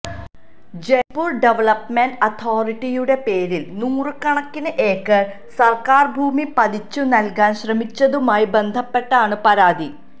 Jaipur development അതോറിട്ടിയുടെ പേരില് നൂറുകണക്കിന് ഏക്കര് സര്ക്കാര് ഭൂമി പതിച്ചു നല്കാന് ശ്രമിച്ചതുമായി ബന്ധപ്പെട്ടാണ് പരാതി